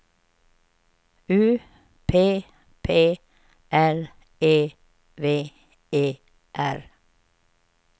U P P L E V E R